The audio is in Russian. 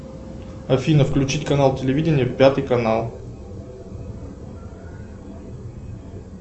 афина включить канал телевидения пятый канал